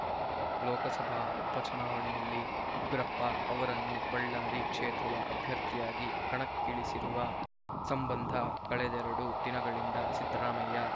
ಲೋಕಸಭಾ ಉಪಚುನಾವಣೆಯಲ್ಲಿ ಉಗ್ರಪ್ಪ ಅವರನ್ನು ಬಳ್ಳಾರಿ ಕ್ಷೇತ್ರದ ಅಭ್ಯರ್ಥಿಯಾಗಿ ಕಣಕ್ಕಿಳಿಸಿರುವ ಸಂಬಂಧ ಕಳೆದೆರಡು ದಿನಗಳಿಂದ ಸಿದ್ದರಾಮಯ್ಯ